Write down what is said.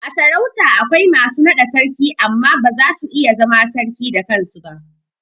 A sarauta akwai masu naɗa Sarki amma ba zasu iya zama sarki da kansu ba